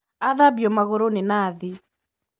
Athambio magũrũ nĩnathi.